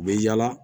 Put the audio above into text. U bɛ yaala